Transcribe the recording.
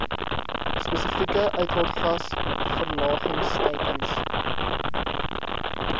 spesifieke uitlaatgas verlagingsteikens